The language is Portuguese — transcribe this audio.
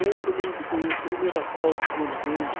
Lembro-me do primeiro asfalto quando veio,